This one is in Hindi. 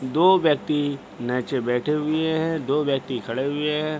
दो व्यक्ति नीचे बैठे हुए हैं दो व्यक्ति खड़े हुए हैं।